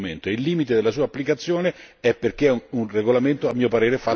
Il limite della sua applicazione è perché è un regolamento, a mio parere, fatto male.